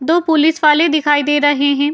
दो पुलिस वाले दिखाई दे रहे हें।